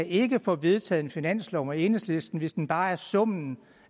ikke kan få vedtaget en finanslov sammen med enhedslisten hvis den bare er summen